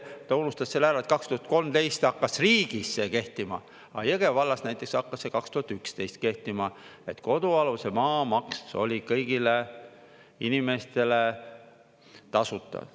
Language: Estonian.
Ta unustas selle ära, et 2013 hakkas riigis see kehtima, aga Jõgeva vallas näiteks hakkas see 2011 kehtima, et kodualuse maa maks oli kõigile inimestele tasuta.